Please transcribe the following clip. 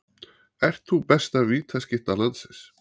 Ert þú besta vítaskytta landsins?